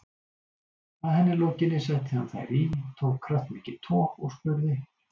Að henni lokinni setti hann þær í, tók kraftmikið tog og spurði